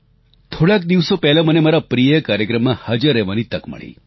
થોડાંક દિવસો પહેલાં મને મારા પ્રિય કાર્યક્રમમાં હાજર રહેવાની તક મળી